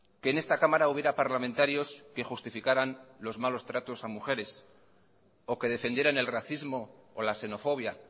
que en esta cámara hubiera parlamentarios que justificaran los malos tratos a mujeres o que defendieran el racismo o la xenofobia